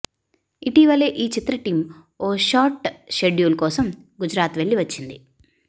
ఇటీవలే ఈ చిత్ర టీం ఓ షార్ట్ షెడ్యూల్ కోసం గుజ రాత్ వెళ్లి వచ్చింది